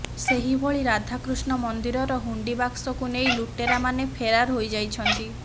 ସେହିଭଳି ରାଧାକୃଷ୍ଣ ମନ୍ଦିରର ହୁଣ୍ଡି ବାକ୍ସକୁ ନେଇ ଲୁଟେରା ମାନେ ଫେରାର ହୋଇ ଯାଇଛନ୍ତି